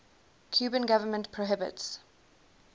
cuban government prohibits